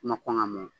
Ma kɔn ka mɔn